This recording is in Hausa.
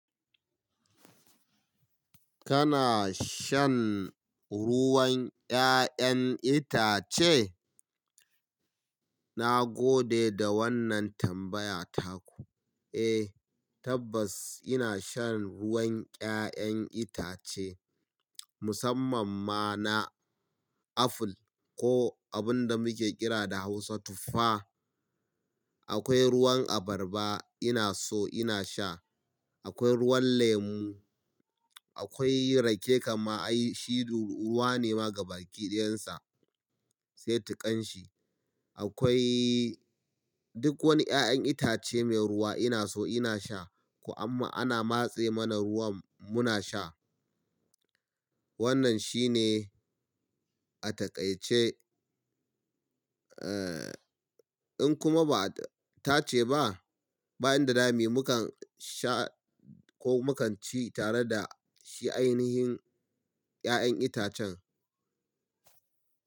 Kana shan ruwan 'ya'yan itace? Na gode da wannan tambaya taku. Eh, tabbas ina shan ruwan 'ya'yan itace musamman ma na aful ko abun da muke kira da Hausa tuffa. Akwai ruwan abarba ina so ina sha, akwai ruwan lemu, akwai rake kam ma ai shi ru ruwa ne ma gabaki ɗayansa, sai tukanshi. Akwai duk wani 'ya'yan itace mai ruwa ina so ina sha, ko amma ana matse mana ruwan muna sha. Wannan shine a takaice, in kuma ba a tace ba, bayan da dami mu kan sha ko mu kan ci tare da shi ainihin 'ya'yan itacen.